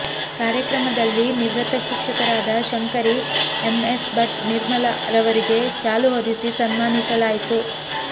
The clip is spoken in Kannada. ಕಾರ್ಯಕ್ರಮದಲ್ಲಿ ನಿವೃತ್ತ ಶಿಕ್ಷಕರಾದ ಶಂಕರಿ ಎಂ ಎಸ್ ಭಟ್ ನಿರ್ಮಲ ರವರಿಗೆ ಶಾಲು ಹೊದಿಸಿ ಸನ್ಮಾನಿಸಲಾಯಿತು